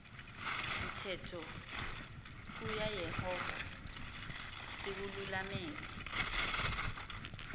mthetho kayehova siwululamele